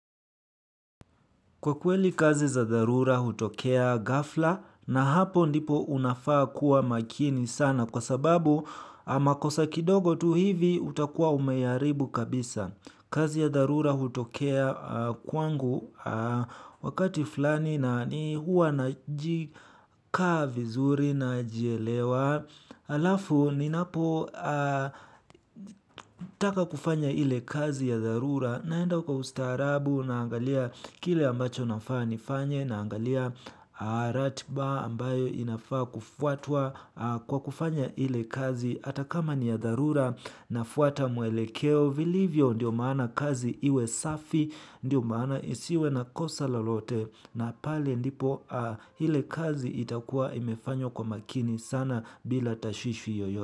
Kwa kweli kazi za dharura hutokea gafla na hapo ndipo unafaa kuwa makini sana kwa sababu a makosa kidogo tu hivi utakuwa umayaribu kabisa. Kazi ya dharura hutokea kwangu wakati fulani na ni huwa na jikaa vizuri na jielewa. Alafu ninapo taka kufanya hile kazi ya dharura naenda kwa ustaarabu naangalia kile ambacho nafaa nifanye naangalia ratba ambayo inafaa kufuatwa kwa kufanya hile kazi ata kama ni ya dharura nafuata muelekeo. Vilivyo ndiyo maana kazi iwe safi ndiyo maana isiwe na kosa lolote na pale ndipo ile kazi itakuwa imefanywa kwa makini sana bila tashwishwi yoyo.